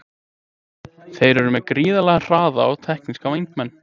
Þeir eru með gríðarlega hraða og tekníska vængmenn.